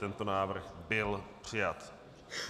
Tento návrh byl přijat.